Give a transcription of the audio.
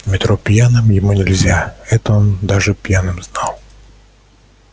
в метро пьяным ему нельзя это он даже пьяным знал